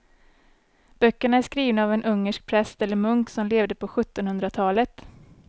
Böckerna är skrivna av en ungersk präst eller munk som levde på sjuttonhundratalet.